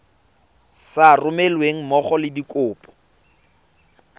sa romelweng mmogo le dikopo